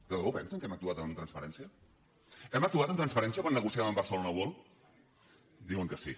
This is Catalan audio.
de debò pensen que hem actuat amb transparència hem actuat amb transparència quan negociàvem amb barcelona world diuen que sí